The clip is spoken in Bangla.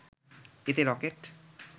এতে রকেট